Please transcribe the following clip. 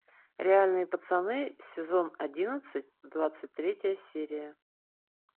реальные пацаны сезон одиннадцать двадцать третья серия